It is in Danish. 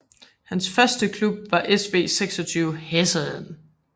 Hans første klub var SV 26 Heessen